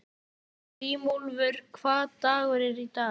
Grímúlfur, hvaða dagur er í dag?